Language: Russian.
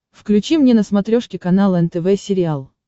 включи мне на смотрешке канал нтв сериал